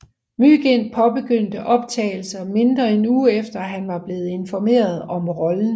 Mygind påbegyndte optagelser mindre end en uge efter han var blevet informeret om rollen